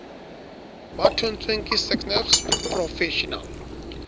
ba thontsweng ke sacnasp professional